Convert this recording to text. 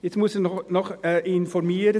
Jetzt muss ich Sie noch informieren: